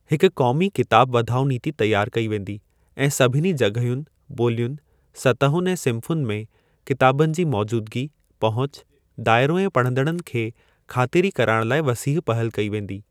हिक क़ौमी किताब वधाउ नीति तियार कई वेंदी ऐं सभिनी जग॒हियुनि, ॿोलियुनि, सतहुनि ऐं सिन्फुनि में किताबनि जी मौजूदगी, पहुच, दायरो ऐं पढ़ंदड़नि खे ख़ातिरी कराइण लाइ वसीह पहल कई वेंदी।